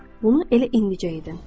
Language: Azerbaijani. Bunu elə indicə edin.